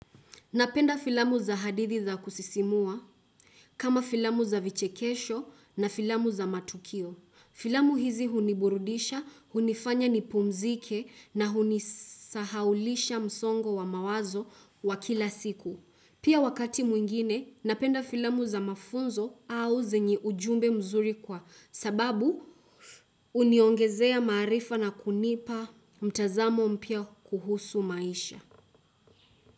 Napenda filamu za hadithi za kusisimua kama filamu za vichekesho na filamu za matukio. Filamu hizi huniburudisha, hunifanya nipumzike na hunisahaulisha msongo wa mawazo wa kila siku. Pia wakati mwingine, napenda filamu za mafunzo au zenye ujumbe mzuri kwa sababu uniongezea maarifa na kunipa mtazamo mpya kuhusu maisha.